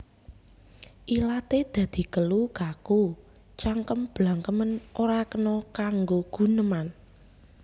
Ilaté dadi kelu kaku cangkem blangkemen ora kena kanggo guneman